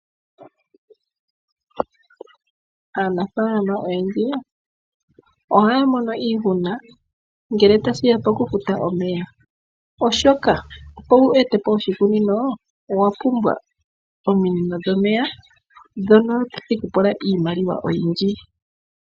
Aanafaalama oyendji ohaya mono iihuna ngele tashiya pokufuta omeya oshoka opo wu ete po oshikunino owa pumbwa ominino dhomeya, ndhono tadhi kupula iimaliwa oyindji.